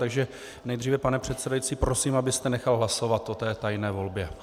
Takže nejdříve, pane předsedající, prosím, abyste nechal hlasovat o té tajné volbě.